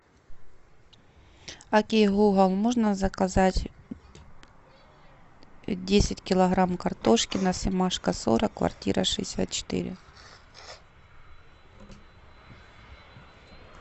окей гугл можно заказать десять килограмм картошки на семашко сорок квартира шестьдесят четыре